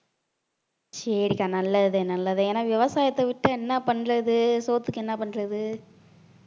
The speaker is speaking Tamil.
சரிக்கா நல்லது தான் நல்லது ஏன்னா விவசாயத்தை விட்டு என்ன பண்றது சோத்துக்கு என்ன பண்றது